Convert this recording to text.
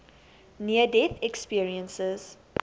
near death experiences